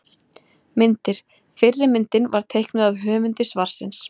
Myndir: Fyrri myndin var teiknuð af höfundi svarsins.